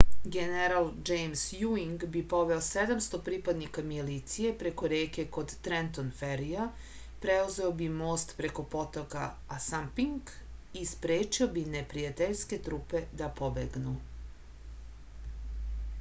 general džejms juing bi poveo 700 pripadnika milicije preko reke kod trenton ferija preuzeo bi most preko potoka asanpink i sprečio bi neprijateljske trupe da pobegnu